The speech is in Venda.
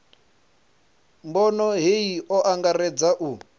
bono hei o angaredza u